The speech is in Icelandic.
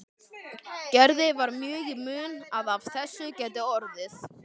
Gerði var mjög í mun að af þessu gæti orðið.